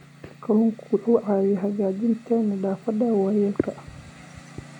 Kalluunku wuxuu caawiyaa hagaajinta nafaqada waayeelka.